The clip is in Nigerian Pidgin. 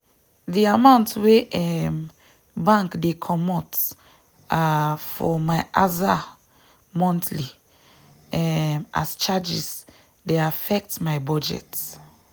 de amount wey um bank dey comot um for my aza monthly um as charges dey affect my budget.